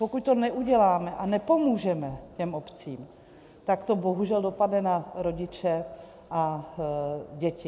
Pokud to neuděláme a nepomůžeme těm obcím, tak to bohužel dopadne na rodiče a děti.